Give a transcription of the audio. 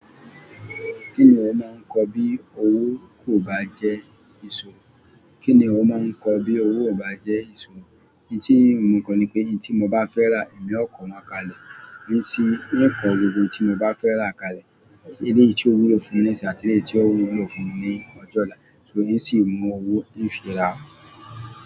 Kí ni ó máa ń kọ bí owó kò bá jẹ́ ìṣòro? Kí ni ó máa ń kọ bí owó ò bá jẹ́ ìṣòro? Ohun tí mò ń kọ ni pé, ohun tí mo bá fẹ́ rà, èmi ó ko wọn kalẹ̀. Ní sì ń kọ gbogbo ohun tí mo bá fẹ́ rà kalẹ̀, èyí tí yóò wúlò lè fún mi ní sì àti èyí tí yóò wúlò lè fún mi ní ọjọ́ ọ̀la. N sì ń mú owó ń fi ra.